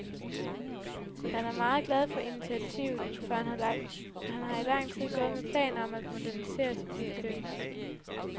Han er meget glad for initiativet, for han har i lang tid gået med planer om at modernisere mit køkken.